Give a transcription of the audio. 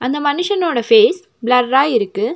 இந்த மனிஷனோட ஃபேஸ் பிளர்ரா இருக்கு.